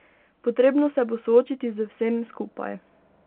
Potrebno se bo soočiti z vsem skupaj.